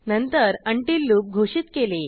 नंतर until loop घोषित केले